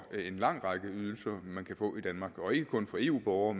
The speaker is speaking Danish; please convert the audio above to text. lang række ydelser man kan få i danmark og ikke kun for eu borgere